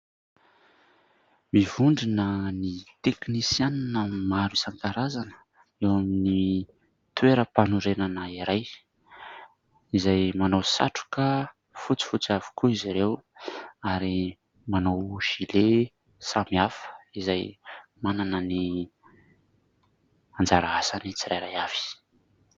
Mivondrona ny teknisianina maro isan-karazany eo amin'ny toeram-panorenana iray, izay manao satroka fotsifotsy avokoa izy ireo ary manao "gillet" samy hafa izay manana ny anjara asany tsirairay avy.